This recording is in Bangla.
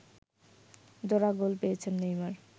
জোড়া গোল পেয়েছেন নেইমার